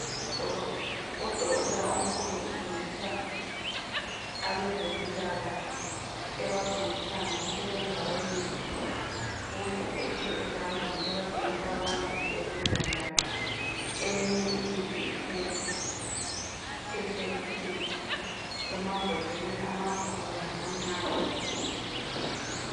Udoko udokotela omkhulu ufundisa abezempilakahle ebafundisa ngokusebenza kwemithi. Uyiphethe ezandleni ebatshengisa ukuba isebenza njani. Eminye imithi ihlezi eshelufini. Emambodleleni amakhulu lamancane.